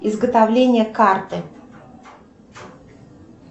изготовление карты